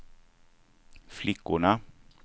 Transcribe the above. flickorna